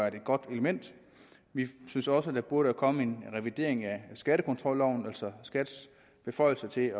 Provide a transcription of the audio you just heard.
et godt element vi synes også at der burde komme en revidering af skattekontrolloven altså skats beføjelser til